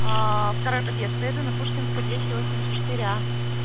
второй подъезд поеду на пушкинская двести восемьдесят четыре а